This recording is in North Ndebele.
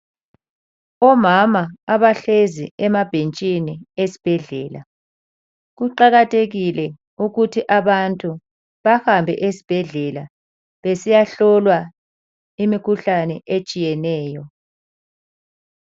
Omama abahlezi emabhentshini esibhedlela, kuqakathekile ukuthi abantu bahambe esibhedlela besiyahlolwa imikhuhlane etshiyeneyo.